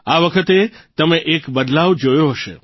આ વખતે તમે એક બદલાવ જોયો હશે